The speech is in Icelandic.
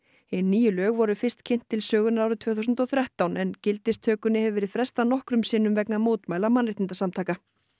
hin nýju lög voru fyrst kynnt til sögunnar árið tvö þúsund og þrettán en gildistökunni hefur verið frestað nokkrum sinnum vegna mótmæla mannréttindasamtaka